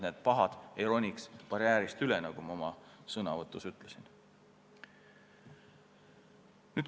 Need pahad ei tohi saada barjäärist üle ronida, nagu ma enne ütlesin.